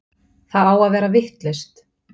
Það á að vera vitlaust!